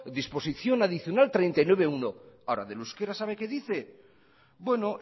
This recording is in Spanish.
disposición adicional treinta y nueve punto uno ahora del euskera sabe que dice bueno